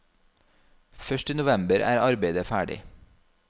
Først i november er arbeidet ferdig.